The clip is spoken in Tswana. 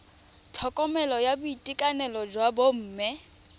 tlhokomelo ya boitekanelo jwa bomme